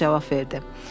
Baş cavab verdi.